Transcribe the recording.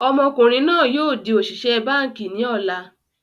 Ọmọkùnrin náà yìí o di òṣìṣẹ́ báànkì ni ọ̀la